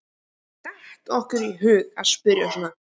Hvernig datt okkur í hug að spyrja svona!